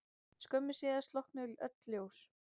Skömmu síðar slokknuðu öll ljós.